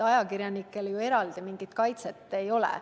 Ajakirjanikele mingit eraldi kaitset ju ei ole.